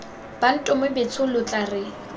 bantomo betshong lo tla re